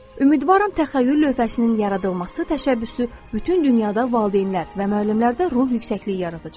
Ümidvaram təxəyyül lövhəsinin yaradılması təşəbbüsü bütün dünyada valideynlər və müəllimlərdə ruh yüksəkliyi yaradacaqdır.